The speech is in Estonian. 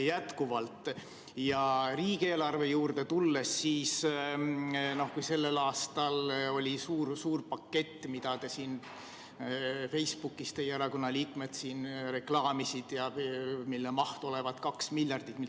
Kui riigieelarve juurde tulla, siis sellel aastal oli suur-suur pakett, mida teie erakonna liikmed Facebookis reklaamisid ja mille maht olevat 2 miljardit.